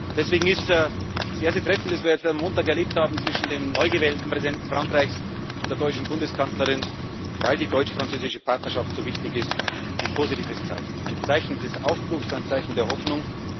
ja! Deswegen ist das erste Treffen, das wir jetzt am Montag erlebt haben, zwischen dem neugewählten Präsidenten Frankreichs und der deutschen Bundeskanzlerin, weil die deutsch französische Partnerschaft so wichtig ist, ein positives Zeichen, ein Zeichen des Aufbruchs, ein Zeichen der